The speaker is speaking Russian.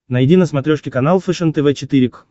найди на смотрешке канал фэшен тв четыре к